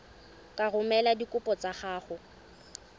ka romela dikopo tsa gago